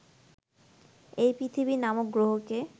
এই পৃথিবী নামক গ্রহকে